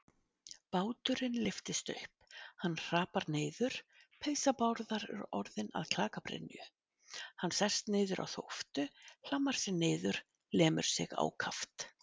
Báturinn lyftist upp, hann hrapar niður, peysa Bárðar er orðin að klakabrynju, hann sest niður á þóftu, hlammar sér niður, lemur sig ákaft.